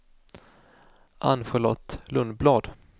Ann-Charlotte Lundblad